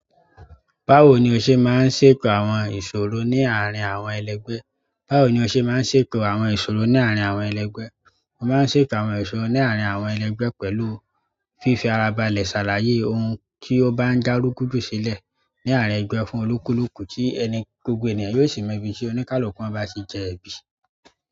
Báwo ni o ṣe máa ń ṣètò àwọn ìṣòro ní àárín àwọn ẹlẹgbẹ́? Báwo ni o ṣe máa ń ṣètò àwọn ìṣòro ní àárín àwọn ẹlẹgbẹ́? Mo máa ń ṣètò àwọn ìṣòro ní àárín àwọn ẹlẹgbẹ́ pẹ̀lú fífi ara balẹ̀ ṣàlàyé ohun tí ó bá ń dá rúgúdù sílẹ̀ ní àárín ẹgbẹ́ fún olúkúlùkù tí ẹni—gbogbo ènìyàn yóò sì mọ ibi tí oníkálukú wọn bá ti jẹ ẹ̀bi.